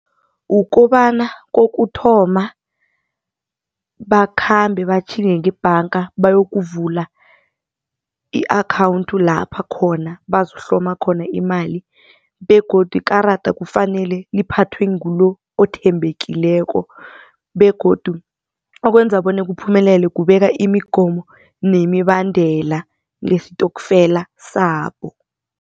Kukobana kokuthoma, bakhambe batjhinge ngebhanga bayokuvula i-akhawunti lapha khona bazokuhloma khona imali begodu ikarada kufanele liphathwe ngulo othembekileko begodu okwenza bona kuphumelela kubekwa imigomo nemibandela ngestokfela sabo.